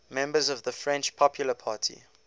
members of the french popular party